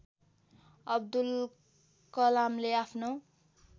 अब्दुल कलामले आफ्नो